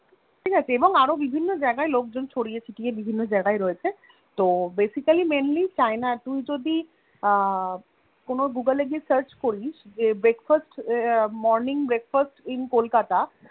ঠিকাছে এবং আরো বিভিন্ন জায়গায় লোকজন ছড়িয়ে ছিটিয়ে বিভিন্ন জায়গায় রয়েছে তো Basically mainly তুই যদি এর Google এ গিয়ে Search করিস Morning breakfast in kolkata